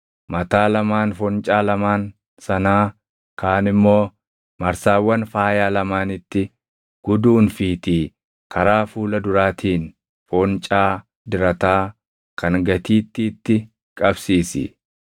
Mataa lamaan foncaa lamaan sanaa kaan immoo marsaawwan faayaa lamaanitti guduunfiitii karaa fuula duraatiin foncaa dirataa kan gatiittiitti qabsiisi.